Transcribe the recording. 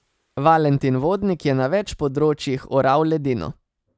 Valentin Vodnik je na več področjih oral ledino.